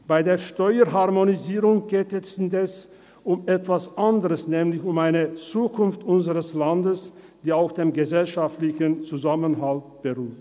Bei der Steuerharmonisierung geht es indes um etwas anderes, nämlich um die Zukunft unseres Landes, welche auf dem gesellschaftlichen Zusammenhalt beruht.